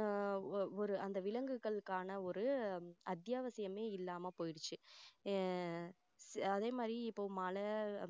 ஆஹ் ஒரு ஒரு அந்த விலங்குகளுக்கான ஒரு அத்தியாவசியமே இல்லாம போயிருச்சு ஆஹ் அதே மாதிரி இப்போ மழை